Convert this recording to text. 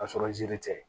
K'a sɔrɔ ziiri tɛ